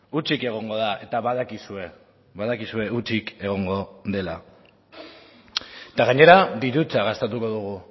hutsik egongo da eta badakizue badakizue hutsik egongo dela eta gainera dirutza gastatuko dugu